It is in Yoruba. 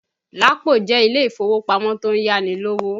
Lapo jẹ́ ilé ìfowópamọ́ tó ń yá ni lówó